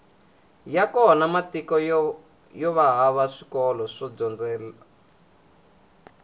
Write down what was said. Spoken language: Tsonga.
ya kona matiko yova hava swikolo swo dyondzela